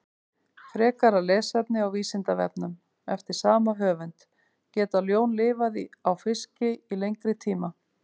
Frekara lesefni á Vísindavefnum eftir sama höfund: Geta ljón lifað á fiski í lengri tíma?